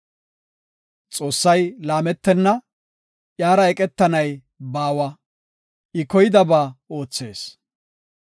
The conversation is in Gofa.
Xoossay laametenna; Iyara eqetanay baawa, I koydaba oothees.